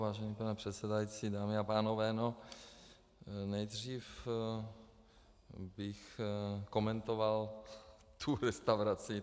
Vážený pane předsedající, dámy a pánové, no, nejdřív bych komentoval tu restauraci.